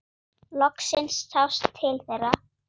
Loksins sást til þeirra.